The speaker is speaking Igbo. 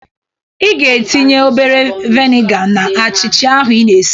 Ị ga-etinye obere veniga na achịcha ahụ i na-esi.